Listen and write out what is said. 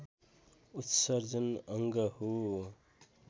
उत्सर्जन अङ्ग हो